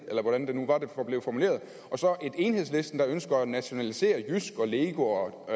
eller hvordan det nu blev formuleret og så et enhedslisten der ønsker at nationalisere jysk og lego og